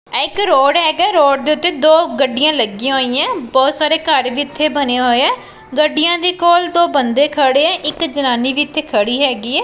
ਇੱਕ ਰੋਡ ਹੈਗਾ ਰੋਡ ਦੇ ਉੱਤੇ ਦੋ ਗੱਡੀਆਂ ਲੱਗੀਆਂ ਹੋਈਆਂ ਬਹੁਤ ਸਾਰੇ ਘਰ ਜਿੱਥੇ ਬਣੇ ਹੋਏ ਐ ਗੱਡੀਆਂ ਦੇ ਕੋਲ ਦੋ ਬੰਦੇ ਖੜੇ ਆ ਇੱਕ ਜਨਾਨੀ ਵੀ ਇੱਥੇ ਖੜੀ ਹੈਗੀ ਹੈ।